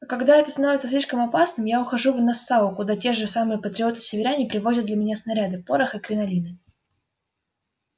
а когда это становится слишком опасным я ухожу в нассау куда те же самые патриоты-северяне привозят для меня снаряды порох и кринолины